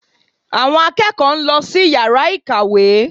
Àwọn akẹ́kọ̀ọ́ ń lọ sí yàrá ìkàwé